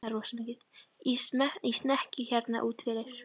Í snekkju hérna úti fyrir!